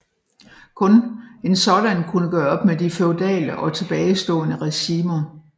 Kun en sådan kunne gøre op med de feudale og tilbagestående regimer